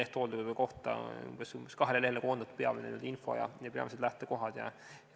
Hooldekodude kohta on umbes kahele lehele koondatud peamine info ja peamised lähtekohad.